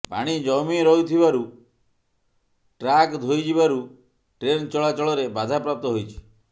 ପାଣି ଜମି ରହିଥିବାରୁ ଟ୍ରାକ ଧୋଇ ଯିବାରୁ ଟ୍ରେନ ଚଳା ଚଳରେ ବାଧାପ୍ରାପ୍ତ ହୋଇଛି